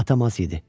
atam az idi.